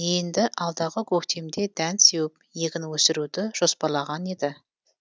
енді алдағы көктемде дән сеуіп егін өсіруді жоспарлаған еді